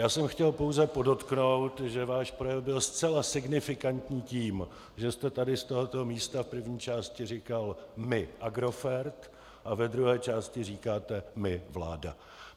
Já jsem chtěl pouze podotknout, že váš projev byl zcela signifikantní tím, že jste tady z tohoto místa v první části říkal "my Agrofert" a ve druhé části říkáte "my vláda".